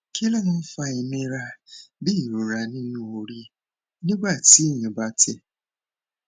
kí ló máa ń fa inira bí irora ninu ori nígbà téèyàn bá tẹ